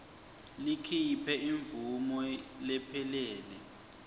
likhiphe imvumo lephelele